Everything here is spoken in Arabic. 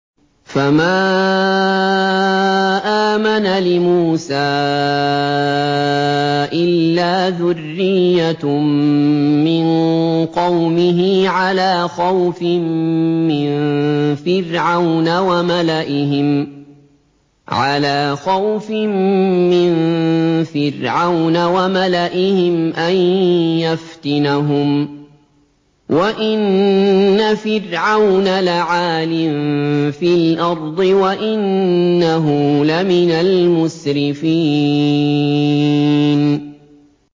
فَمَا آمَنَ لِمُوسَىٰ إِلَّا ذُرِّيَّةٌ مِّن قَوْمِهِ عَلَىٰ خَوْفٍ مِّن فِرْعَوْنَ وَمَلَئِهِمْ أَن يَفْتِنَهُمْ ۚ وَإِنَّ فِرْعَوْنَ لَعَالٍ فِي الْأَرْضِ وَإِنَّهُ لَمِنَ الْمُسْرِفِينَ